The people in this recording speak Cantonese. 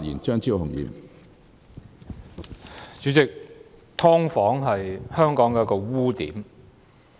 主席，"劏房"是香港的一個污點。